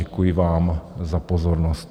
Děkuji vám za pozornost.